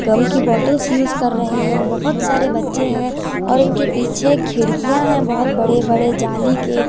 गम की bottles use कर रहे हैं बहुत सारे बच्चे हैं और इनके पीछे खिड़कियां हैं बहुत बड़े बड़े जाली के।